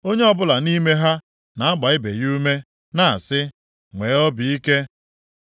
Onye ọbụla nʼime ha na-agba ibe ya ume na-asị, “Nwee obi ike.”